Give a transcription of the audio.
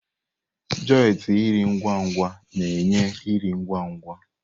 Joịtị nri ngwa-ngwa na-enye nri ngwa ngwa.